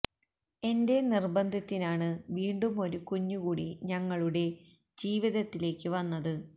എന്റെ നിർബന്ധത്തിനാണ് വീണ്ടും ഒരു കുഞ്ഞു കൂടി ഞങ്ങളുടെ ജീവിതത്തിലേക്ക് വന്നത്